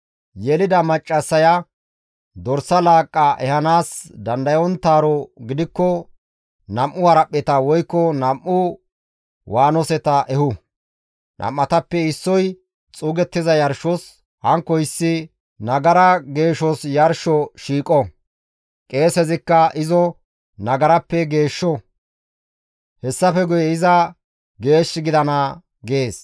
Yelida maccassaya dorsa laaqqa ehanaas dandayonttaaro gidikko nam7u haraphpheta woykko nam7u waanoseta ehu; nam7atappe issoy xuugettiza yarshos, hankkoyssi nagara geeshos yarsho shiiqo; qeesezikka izo nagarappe geeshsho; hessafe guye iza geesh gidana› gees.»